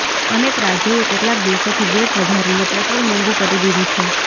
અનેક રાજ્યોએ કેટલાક દિવસોથી વેટ વધારીને પેટ્રોલ મોંઘુ કરી દીધું છે